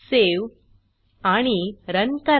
save आणि run करा